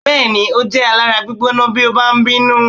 Bẹ́ẹ̀ni, ó jẹ́ alára gbígbóná bí ó bá ń bínú.